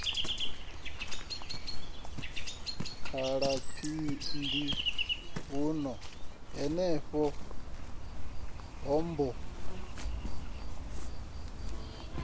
khala phiphiḓi huno henefho hombo